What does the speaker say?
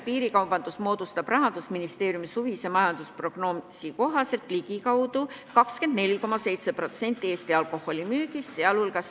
Piirikaubandus moodustab Rahandusministeeriumi suvise majandusprognoosi kohaselt ligikaudu 24,7% Eesti alkoholitarbimisest.